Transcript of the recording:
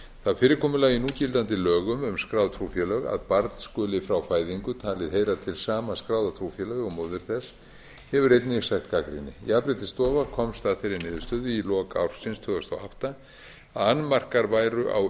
það fyrirkomulag í núgildandi lögum um skráð trúfélög að barn skuli frá fæðingu talið heyra til sama skráða trúfélagi og móðir þess hefur einnig sætt gagnrýni jafnréttisstofa komst að þeirri niðurstöðu í lok ársins tvö þúsund og átta að annmarkar væru á